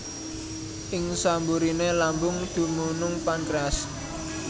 Ing samburiné lambung dumunung pankréas